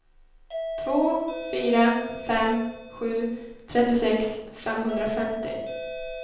två fyra fem sju trettiosex femhundrafemtio